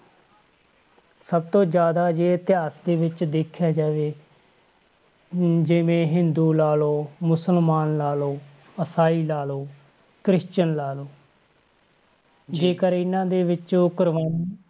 ਸਭ ਤੋਂ ਜ਼ਿਆਦਾ ਜੇ ਇਤਿਹਾਸ ਦੇ ਵਿੱਚ ਦੇਖਿਆ ਜਾਵੇ ਜਿਵੇਂ ਹਿੰਦੂ ਲਾ ਲਓ, ਮੁਸਲਮਾਨ ਲਾ ਲਓ, ਈਸਾਈ ਲਾ ਲਓ, ਕ੍ਰਿਸਚਨ ਲਾ ਲਓ ਜੇਕਰ ਇਹਨਾਂ ਦੇ ਵਿੱਚ ਉਹ ਕੁਰਬਾਨੀਆਂ,